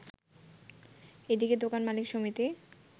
এদিকে দোকান মালিক সমিতি